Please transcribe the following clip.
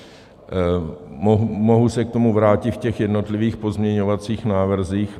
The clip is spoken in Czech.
Mohu se k tomu vrátit v těch jednotlivých pozměňovacích návrzích.